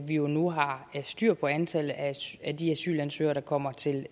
vi jo nu har styr på antallet af de asylansøgere der kommer til